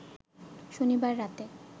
শনিবার রাতে